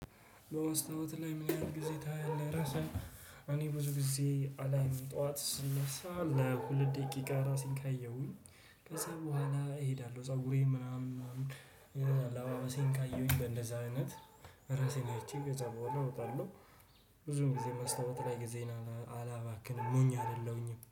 በውስጥዎት ላይ ምን ያህል ጊዜ ታያለህ ለራስህ? እኔ ብዙ ጊዜ አላይም ጠዋት ስነሳ ለሁለት ደቂቃ ራሴን ካየሁኝ ከዛ በኋላ እሄዳለሁ ፀጉሬ ምናምን አለባበሴን ካየሁኝ በእንደዛ አይነት ራሴን አይቼ ከዛ በኋላ እወጣለሁ። ብዙም ጊዜ መስታወት ላይ ጊዜን አላባክንም ሞኝ አይደለሁኝም